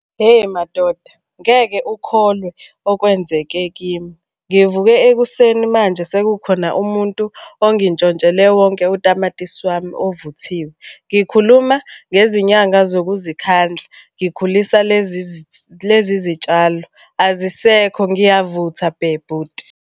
Hheyi madoda, ngeke ukholwe okwenzeke kimi. Ngivuke ekuseni manje sekukhona umuntu ongintshontshele wonke utamatisi wami ovuthiwe. Ngikhuluma ngezinyanga zokuzikhandla ngikhulisa lezi zitshalo. Azisekho ngiyavutha bhe bhuti.